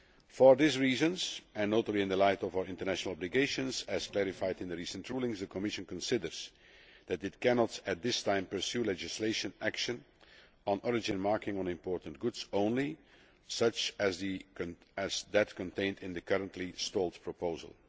For these reasons, and notably in the light of our international obligations as clarified in the recent rulings, the Commission considers that it cannot at this time pursue legislation action on origin marking on imported goods only, such as that contained in the currently stalled proposal.